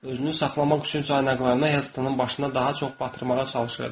Özünü saxlamaq üçün caynaqlarını Helttonun başına daha çox batırmağa çalışırdı.